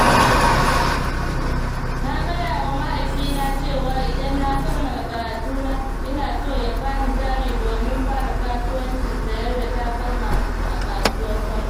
Na gayawa mahaifina cewa idan na kammala karatuna, ina so ya bani jari domin fara kasuwancin sayar da takalma a kasuwar Kwari.